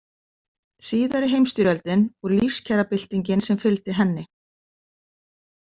Síðari heimsstyrjöldin og lífskjarabyltingin sem fylgdi henni.